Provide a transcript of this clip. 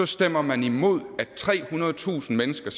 stemmer man imod at trehundredetusind mennesker